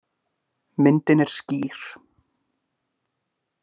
Myndin er skýr.